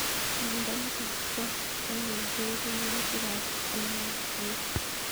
Miondo nitok po Schinler ko ipu walutik ab NAGA